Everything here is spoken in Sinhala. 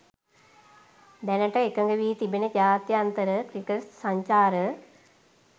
දැනට එකඟ වී තිබෙන ජාත්‍යන්තර ක්‍රිකට් සංචාර